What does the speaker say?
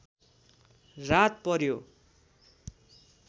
रात पर्‍यो